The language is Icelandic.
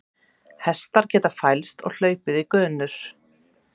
Hestar geta fælst og hlaupið í gönur.